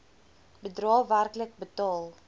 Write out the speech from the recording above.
bedrae werklik betaal